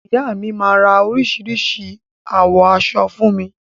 Ìyá mi máa ra oríṣìíríṣìí àwọ̀ aṣọ fún mi.